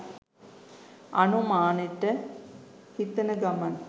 අනුමානෙට හිතන ගමන්